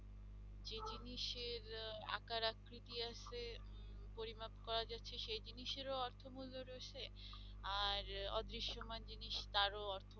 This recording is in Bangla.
যে জিনিসের আহ আকার আকৃতি আছে, পরিমাপ করা যাচ্ছে সেই জিনিসেরও অর্থমূল্য রয়েছে আর অদৃশমান জিনিস তারও অর্থ